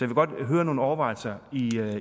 vil godt høre nogle overvejelser